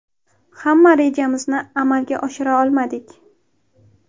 Hamma rejamizni amalga oshira olmadik.